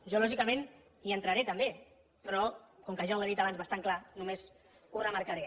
jo lògicament hi entraré també però com que ja ho he dit abans bastant clar només ho remarcaré